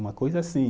Uma coisa assim.